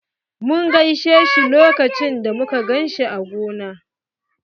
Mun gaishe shi lokacin da muka ganshi a gona.